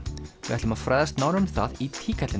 við ætlum að fræðast nánar um það í